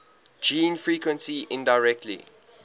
gene frequency indirectly